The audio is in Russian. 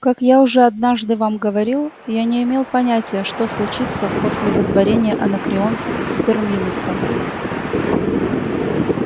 как я уже однажды вам говорил я не имел понятия что случится после выдворения анакреонцев с терминуса